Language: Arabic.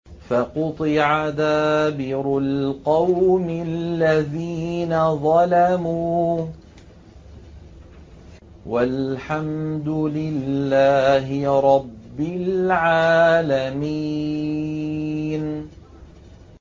فَقُطِعَ دَابِرُ الْقَوْمِ الَّذِينَ ظَلَمُوا ۚ وَالْحَمْدُ لِلَّهِ رَبِّ الْعَالَمِينَ